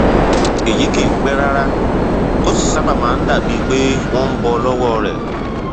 èyí kìí pẹ rárá ó sì sábà máa ń dàbíi pé wọn ń bọ lọwọ rẹ